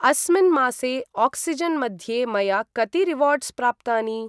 अस्मिन् मासे आक्सिजेन् मध्ये मया कति रिवार्ड्स् प्राप्तानि?